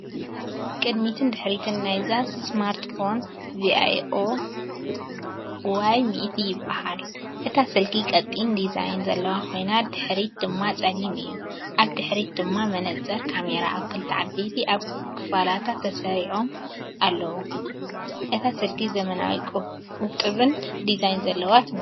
ቅድሚትን ድሕሪትን ናይዛ ስማርትፎን 'vivo Y100' ይበሃል። እታ ስልኪ ቀጢን ዲዛይን ዘለዋ ኮይና፡ ድሕሪት ድማ ጸሊም እዩ። ኣብ ድሕሪት ድማ መነጽር ካሜራ ኣብ ክልተ ዓበይቲ ክቢ ክፋላት ተሰሪዖም ኣለዉ። እታ ስልኪ ዘመናውን ውቁብን ዲዛይን ዘለዋ ትመስል።